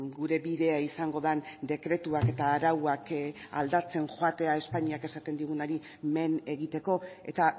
gure bidea izango den dekretuak eta arauak aldatzen joatea espainiak esaten digunari men egiteko eta